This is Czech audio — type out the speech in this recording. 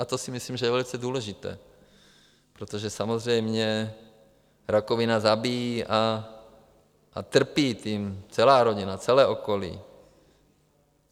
A to si myslím, že je velice důležité, protože samozřejmě rakovina zabíjí a trpí tím celá rodina, celé okolí.